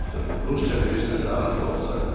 Rusca bilirsən də, az da olsa.